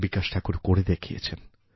বিকাশ Thakur করেদেখিয়েছেন